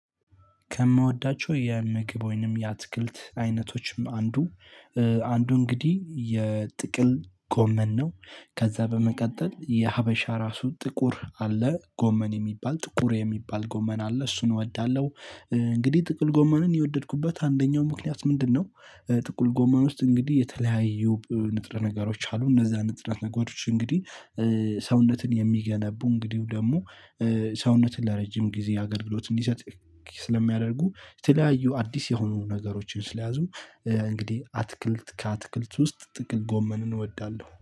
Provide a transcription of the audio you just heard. ከምወዳቸው የምግብ ወይም ያትክልት አይነቶች አንዱ አንዱ እንግዲህ የጥቅል ጎመን ነው። ከዛ በመቀጠል የሃበሻ እራሱ ጥቁር አለ የሚባል ግመን አለ እሱን እወዳለው። እንግዲህ ጥቁር ጎመንን የወደድኩበት አንደኛው ምክንያት ምንድነው? ጥቁር ጎመን ውስጥ እንግዲህ የተለያዩ ንጥረ ነገሮች አሉ እነዛ ንጥረ ነገሮች እንግዲህ። ሰውነትን የሚገነቡ እንግዲህ ደግሞ ሰውነትን ለረጅም ጊዜ አገልግሎት እንዲሰጥ ስለሚያደርጉ የተለያዩ አዲስ የሆኑ ነገሮችን ስለያዙ። እንግዲህ አትክልት ከአትክልት ውስጥ ጥቅል ጎመንን እወዳለሁ